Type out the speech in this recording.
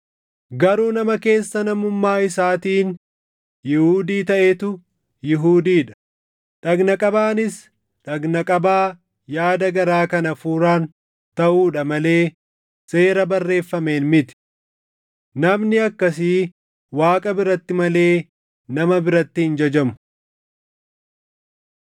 Garuu nama keessa namummaa isaatiin Yihuudii taʼetu Yihuudii dha; dhagna qabaanis dhagna qabaa yaada garaa kan Hafuuraan taʼuudha malee seera barreeffameen miti. Namni akkasii Waaqa biratti malee nama biratti hin jajamu.